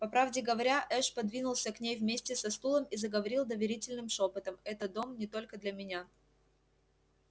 по правде говоря эш подвинулся к ней вместе со стулом и заговорил доверительным шёпотом это дом не только для меня